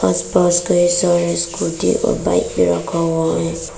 आस पास कई सारे स्कूटी और बाइक भी रखा हुआ है।